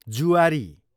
जुआरी